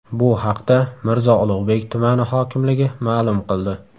Bu haqda Mirzo Ulug‘bek tumani hokimligi ma’lum qildi .